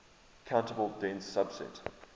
countable dense subset